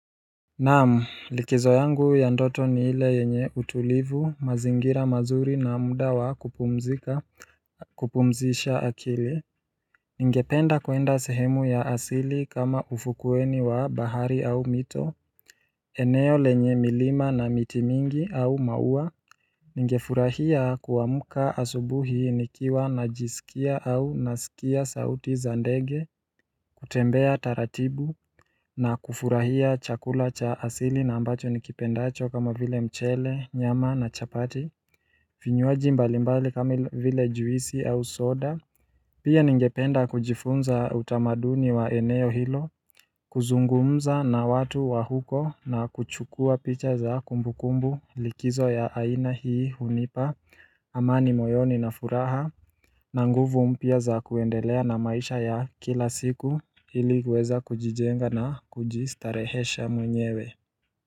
Naamu, likizo yangu ya ndoto ni ile yenye utulivu, mazingira mazuri na muda wa kupumzisha akili. Ningependa kwenda sehemu ya asili kama ufukueni wa bahari au mito. Eneo lenye milima na miti mingi au maua. Ningefurahia kuwamuka asubuhi nikiwa najisikia au nasikia sauti zandege. Kutembea taratibu na kufurahia chakula cha asili na ambacho nikipendacho kama vile mchele, nyama na chapati vinywaji mbalimbali kama vile juisi au soda Pia ningependa kujifunza utamaduni wa eneo hilo kuzungumza na watu wa huko na kuchukua picha za kumbukumbu likizo ya aina hii hunipa amani moyoni na furaha na nguvu mpya za kuendelea na maisha ya kila siku ili kuweza kujijenga na kujistarehesha mwenyewe.